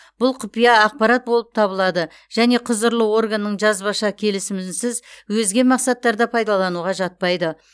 бұл құпия ақпарат болып табылады және құзырлы органның жазбаша келісімінсіз өзге мақсаттарда пайдалануға жатпайды